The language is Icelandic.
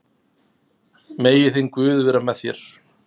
Megi þinn guð vera með þér.